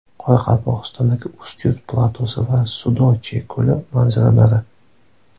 Qoraqalpog‘istondagi Ustyurt platosi va Sudochye ko‘li manzaralari .